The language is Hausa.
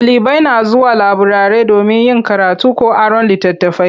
Ɗalibai na zuwa laburare domin yin karatu ko aron litattafai.